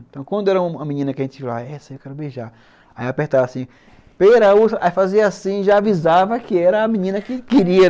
Então, quando era uma menina que a gente dizia, essa eu quero beijar, aí eu apertava assim, pera, uva, aí fazia assim e já avisava que era a menina que queria.